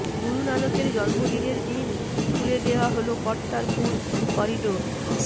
গুরু নানকের জন্মদিনের দিন খুলে দেওয়া হল কর্তারপুর করিডোর